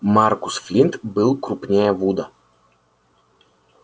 маркус флинт был крупнее вуда